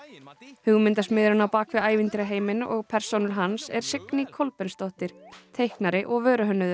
hugmyndasmiðurinn á bak við og persónur hans er Signý Kolbeinsdóttir teiknari og